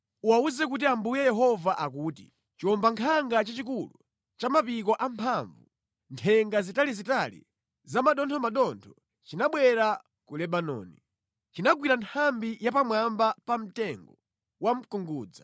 Uwawuze kuti Ambuye Yehova akuti, chiwombankhanga chachikulu, cha mapiko amphamvu, nthenga zitalizitali zamathothomathotho chinabwera ku Lebanoni. Chinagwira nthambi ya pamwamba pa mtengo wa mkungudza.